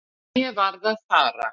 En ég varð að fara.